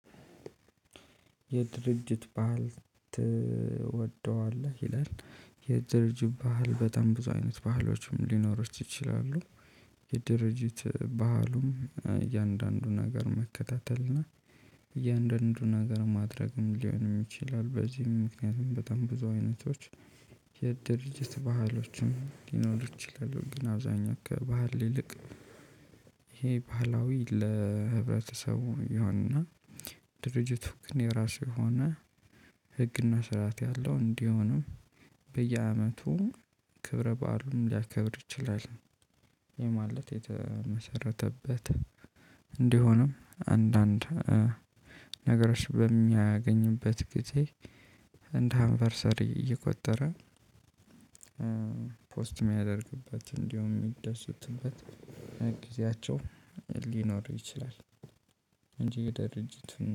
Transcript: የድርጅት ባህል ትወደዋለህ ይላል? የድርጅት ባህል በጣም ብዙ አይነት ባህሎችም ሊኖሩት ይችላሉ። የድርጅት ባህሉም እያንዳንዱን ነገር መከታተልና። እያንዳንዱን ነገር ማድረግም ሊሆንም ይችላል። በዚህም ምክንያቱም በጣም ብዙ አይነቶች። የድርጅት ባህሎችን ሊኖሩ ይችላሉ ግን አብዛኛው ከባህል ይልቅ ይሄ ባህላዊ ለህብረተሰቡ ይሆንና። ድርጅት ሁክ የራሱ የሆነ ህግና ስርዓት ያለው እንዲሆንም። በየአመቱ ክብረ በዓሉን ሊያከብር ይችላል። የማለት የተመሰረተበት እንዲሆንም አንዳንድ ነገሮች በሚያገኝበት ጊዜ እንደ አንቨርሰሪ እየቆጠረ። ፖስት ሚያደርግበት እንዲሁም የሚደሱትበት ጊዜያቸው ሊኖሩ ይችላል። እንጂ የድርጅት